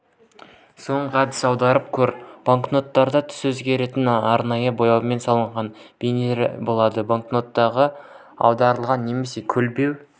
соңғы әдіс аударып көр банкноттарда түсі өзгеретін арнайы бояумен салынған бейнелер болады банкноттарды аударған немесе көлбеу